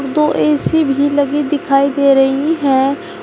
दो ए_सी भी लगी दिखाई दिखाई दे रही है।